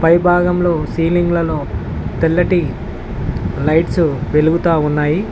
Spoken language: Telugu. ఈ భాగంలో సీలింగ్లలలో తెల్లటి లైట్స్ వెలుగుతా ఉన్నాయి.